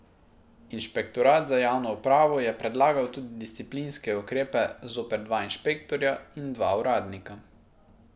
Inšpektorat za javno upravo je predlagal tudi disciplinske ukrepe zoper dva inšpektorja in dva uradnika.